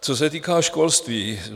Co se týká školství.